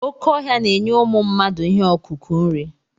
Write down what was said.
Oké ọhịa na-enye ụmụ mmadụ ihe ọkụkụ nri.